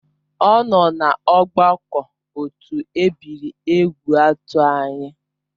Ọ nọ na ọgbakọ otu ebiri Egwuatu anyị